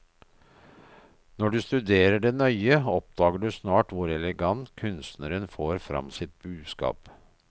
Når du studere det nøye, oppdager du snart hvor elegant kunstneren får fram sitt budskap.